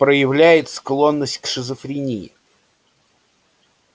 проявляет склонность к шизофрении